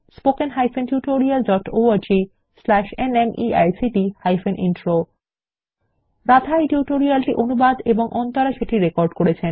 httpspoken tutorialorgNMEICT Intro Radha এই tutorial টি অনুবাদ এবং অন্তরা সেটি রেকর্ড করেছেন